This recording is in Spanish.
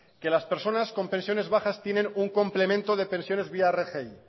que las personas con pensiones bajas tienen un complemento de personas vía rgi